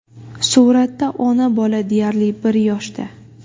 Suratda ona bola deyarli bir yoshda.